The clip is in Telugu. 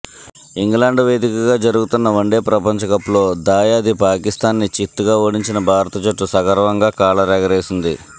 ఇంగ్లాండ్ వేదికగా జరుగుతున్న వన్డే ప్రపంచకప్లో దాయాది పాకిస్థాన్ని చిత్తుగా ఓడించిన భారత్ జట్టు సగర్వంగా కాలరెగరేసింది